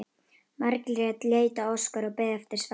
Margrét leit á Óskar og beið eftir svari.